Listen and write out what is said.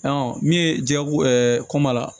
min ye jago koma la